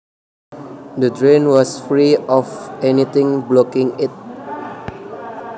The drain was free of anything blocking it